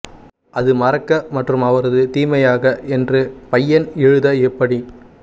அது மறக்க மற்றும் அவரது தீமையாக என்று பையன் எழுத எப்படி